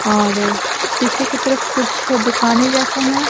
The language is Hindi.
और पीछे की तरफ कुछ दुकानें जैसा है।